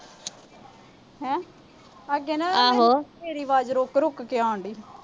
ਆ ਕਹਿੰਦਾ ਮੇਰੀ ਆਵਾਜ ਰੁੱਕ-ਰੁੱਕ ਕੇ ਆਉਣ ਡਈ।